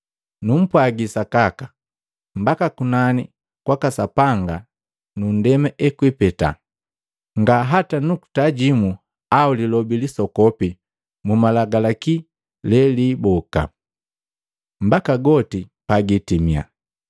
Numpwagi sakaka, mbaka kunani kwaka Sapanga nu nndema ekwipeta, nga hata nukuta jimu au lilobi lisokopi mu Malagalaki leliiboka, mbaka goti pagiitimia.